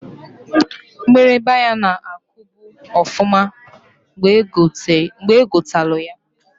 Mgbịrịgba ya na-akubu ọfụma mgbe egotalụ ya.